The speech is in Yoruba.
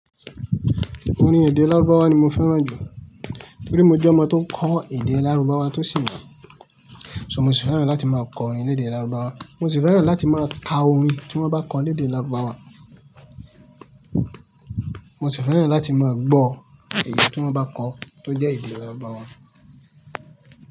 Orin èdè lárúbáwá ni mo fẹ́ràn jù nítorí mo jẹ́ ọmọ tó kọ́ èdè lárúbáwá tó sì mọ̀. So mo sì fẹ́ràn láti máa kọ orin ní èdè lárúbáwá, mo sì fẹ́ràn láti máa ka orin tí wọ́n bá kọ ní èdè lárúbáwá. Mo sì fẹ́ràn láti máa gbọ́ ẹ̀yi tí wọ́n bá kọ tó jẹ́ èdè lárúbáwá.